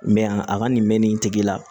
a ka nin mɛn nin tigi la